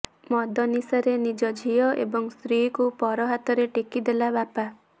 ମଦ ନିଶାରେ ନିଜ ଝିଅ ଏବଂ ସ୍ତ୍ରୀକୁ ପର ହାତରେ ଟେକି ଦେଲା ବାପା